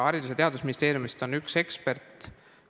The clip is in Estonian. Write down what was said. Haridus- ja Teadusministeeriumist on üks ekspert.